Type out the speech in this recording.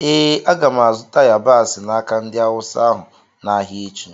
Ee, aga m azụta yabasị n’aka ndị Awụsa ahụ n’ahịa echi.